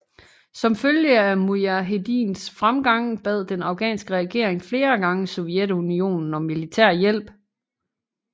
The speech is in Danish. Som følge af mujahedins fremgang bad den afghanske regering flere gange Sovjetunionen om militærhjælp